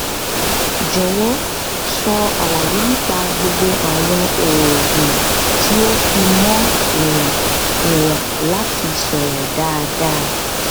jọwọ sọ àlàyé nípa gbogbo àwọn oògùn tí ó fi mọ ìwọn ìwọn láti sọrọ dáadáa